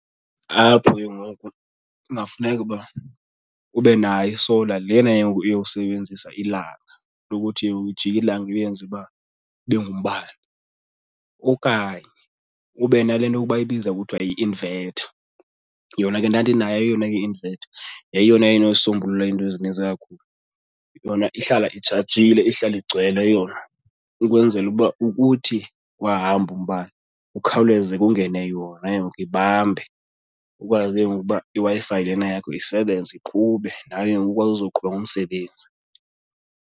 Apho ke ngoku kungafuneka uba ube nayo i-solar lena ke ngoku yokusebenzisa ilanga into yokuthi ujike ilanga ulenze uba libe ngumbane okanye ube nale nto yokuba bayibiza kuthiwa yi-inverter. Yona ke ndandinayo eyona i-inverter. Yayiyona inosombulula iinto ezininzi kakhulu. Yona ihlala itshajile ihlale igcwele yona ukwenzela ukuba ukuthi wahamba umbane kukhawuleze kungene yona ke ngoku ibambe kukwazi ke ngoku uba iWi-Fi lena yakho isebenze iqhube nawe ke ngoku ukwazi uzoqhuba ngomsebenzi.